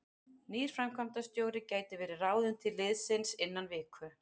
Nýr framkvæmdarstjóri gæti verið ráðinn til liðsins innan viku.